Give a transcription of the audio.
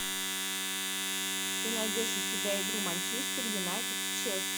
ты найдешь у себя игру манчестер юнайтед с челси